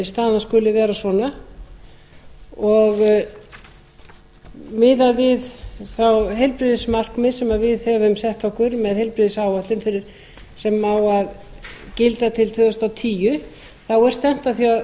staðan skuli vera svona og miðað við þau heilbrigðismarkmið sem við höfum sett okkur með heilbrigðisáætlun sem á að gilda til tvö þúsund og tíu er stefnt að því